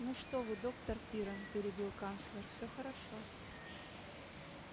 ну что вы доктор пиренн перебил канцлер все хорошо